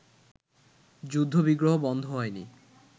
যুদ্ধ-বিগ্রহ বন্ধ হয়নি